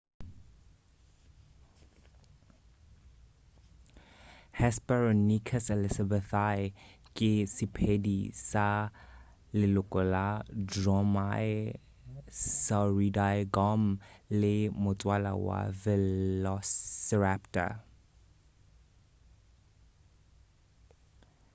hesperonychus elizabethae ke sephedi sa leloko la dromaeosauridaegomme ke motswala wa velociraptor